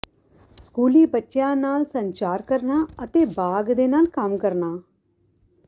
ਸਕੂਲੀ ਬੱਚਿਆਂ ਨਾਲ ਸੰਚਾਰ ਕਰਨਾ ਅਤੇ ਬਾਗ ਦੇ ਨਾਲ ਕੰਮ ਕਰਨਾ